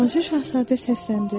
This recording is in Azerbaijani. Balaca Şahzadə səsləndi: